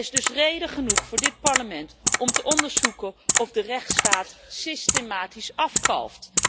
Er is dus reden genoeg voor dit Parlement om te onderzoeken of de rechtsstaat systematisch afkalft.